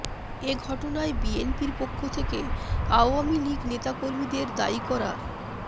এ ঘটনায় বিএনপির পক্ষ থেকে আওয়ামী লীগ নেতাকর্মীদের দায়ী করা